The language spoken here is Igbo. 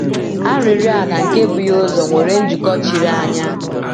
Arịrịọ a na nke bu ya ụzọ nwere njikọ chiri anya.